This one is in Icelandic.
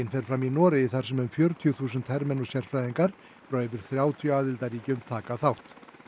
fer fram í Noregi þar sem um fjörutíu þúsund hermenn og sérfræðingar frá yfir þrjátíu aðildarríkjum taka þátt